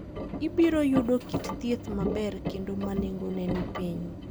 Ibiro yudo kit thieth maber kendo ma nengone ni piny.